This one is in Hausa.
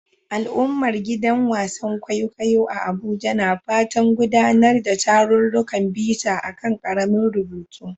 Al'ummar gidan wasan kwaikwayo a Abuja na fatan gudanar da tarurrukan bita a kan karamin rubutu